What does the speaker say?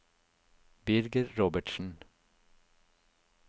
Birger Robertsen